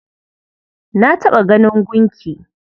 Na taɓa ganin gunki.